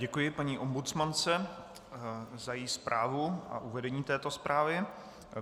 Děkuji paní ombudsmance za její zprávu a uvedení této zprávy.